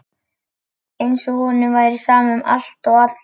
Eins og honum væri sama um allt og alla.